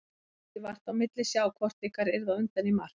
Það mátti vart á milli sjá hvort ykkar yrði á undan í mark.